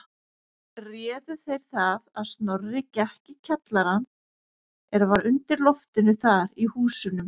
Réðu þeir það að Snorri gekk í kjallarann er var undir loftinu þar í húsunum.